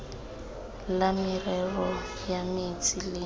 la merero ya metsi le